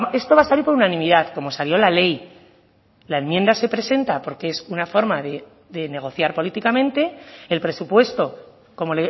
esto va a salir por unanimidad como salió la ley la enmienda se presenta porque es una forma de negociar políticamente el presupuesto como